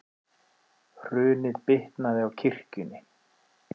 Hrunið bitnaði á kirkjunni